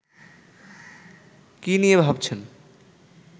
কি নিয়ে ভাবছেন